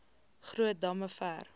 groot damme ver